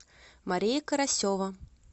мария карасева